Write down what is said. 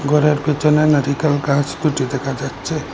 ঘরের পেছনে নারিকেল গাছ দুটি দেখা যাচ্ছে।